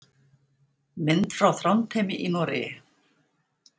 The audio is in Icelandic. Mynd frá Þrándheimi í Noregi.